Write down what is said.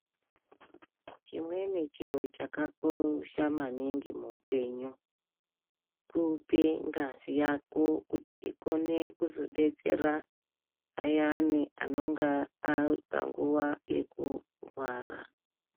Chimweni chiro chakakosha maningi muupenyu kupe ngazi yako kuti ikone kuzodetsera ayana anonga aripanguwa yokurwara.